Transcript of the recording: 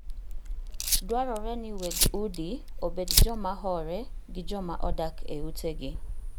Dwarore ni weg udi obed joma hore gi jomaodak e utegi